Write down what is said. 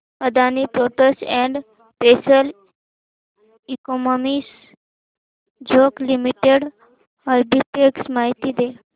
Adani ports and special economic zone limited arbitrage माहिती दे